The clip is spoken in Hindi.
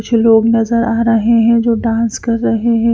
कुछ लोग नजर आ रहे हैं जो डांस कर रहे हैं।